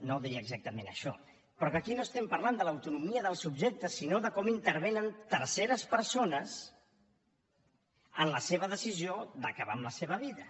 no deia exactament això però que aquí no estem parlant de l’autonomia del subjecte sinó de com intervenen terceres persones en la seva decisió d’acabar amb la seva vida